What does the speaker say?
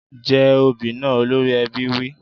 Jẹ obì náà! Olórí ẹbí wí.